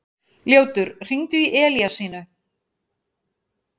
Ljótur, hringdu í Elíasínu.